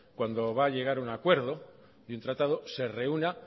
cuando va a llegar a un acuerdo de un tratado se reúna